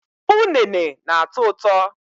Ụnene na-atọ ụtọ